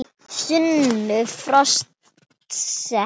Sonur forseta